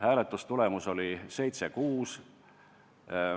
Hääletustulemus oli 7 : 6.